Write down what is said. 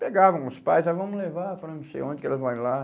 Pegavam os pais, ah, vamos levar para não sei onde que elas vão ir lá.